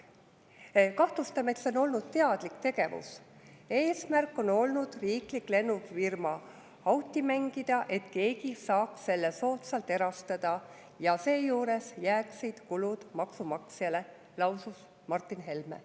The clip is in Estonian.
"Kahtlustame, et see on olnud teadlik tegevus ja eesmärk on olnud riiklik lennufirma auti mängida, et keegi saaks selle soodsalt erastada, ja seejuures jääksid kulud maksumaksjale," lausus Martin Helme.